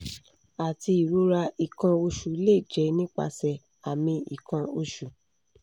ati irora ikan osu le je nipase ami ikan osu